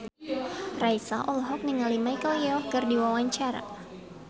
Raisa olohok ningali Michelle Yeoh keur diwawancara